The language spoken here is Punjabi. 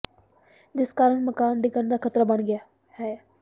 ਜਿਸ ਕਾਰਨ ਮਕਾਨ ਡਿੱਗਣ ਦਾ ਖਤਰਾ ਬਣ ਗਿਆ ਹੈ